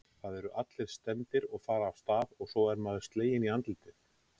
Það eru allir stemmdir og fara af stað og svo er maður sleginn í andlitið